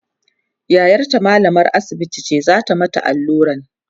yayarta mallamar asibiti ce zata mata alluran